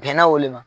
Bɛnna o le ma